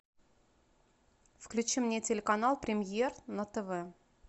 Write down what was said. включи мне телеканал премьер на тв